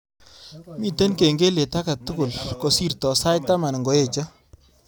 Miten kengelet age tugul kosirto sait taman ngoeche